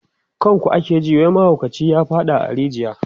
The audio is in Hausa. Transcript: kan ku ake ji wai mahaukaci ya faɗa a rijiya